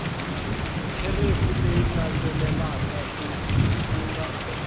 kherefu leyi landzelaka ku nga